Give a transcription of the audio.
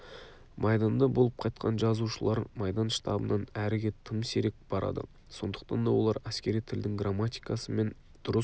майданда болып қайтқан жазушылар майдан штабынан әріге тым сирек барады сондықтан да олар әскери тілдің грамматикасы мен дұрыс